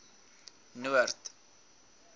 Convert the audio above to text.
noord